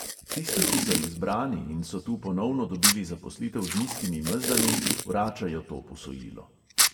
Tisti, ki so izbrani in so tu ponovno dobili zaposlitev z nizkimi mezdami, vračajo to posojilo.